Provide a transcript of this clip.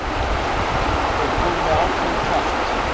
Þeir komu með ákveðinn kraft.